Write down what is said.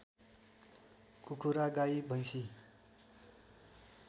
कुखुरा गाइ भैँसी